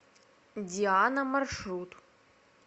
диана маршрут